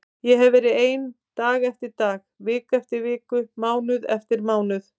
Ég hefi verið ein dag eftir dag, viku eftir viku, mánuð eftir mánuð.